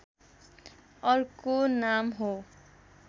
अर्को नाम हो